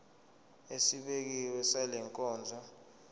esibekiwe sale nkonzo